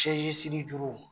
sɛsi sirijuru